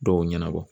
Dɔw ɲɛnabɔ